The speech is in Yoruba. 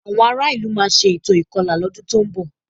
Àwọn ará ìlú máa ṣe ètò ìkọlà lọ́dún tó ń bọ̀